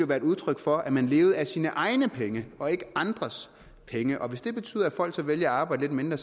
være et udtryk for at man levede af sine egne penge og ikke andres penge og hvis det betyder at folk så vælger at arbejde lidt mindre